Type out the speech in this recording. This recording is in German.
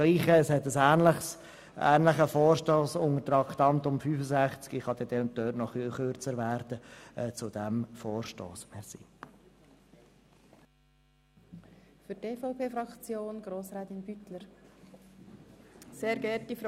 Gleiches gilt bei einem ähnlichen Vorstoss, der im nächsten Traktandum folgen wird, bei dem ich mich dann ein bisschen kürzer fassen kann.